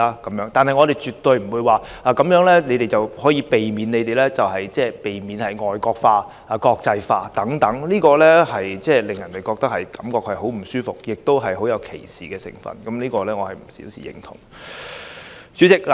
但是，我們絕對不會說這樣便可避免他們令香港"外國化"、"國際化"，這實在令人感覺很不舒服，亦帶有歧視成分，是我不能表示認同的一點。